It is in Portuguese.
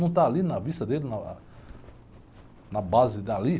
Não está ali na vista dele, na ah, na base dali?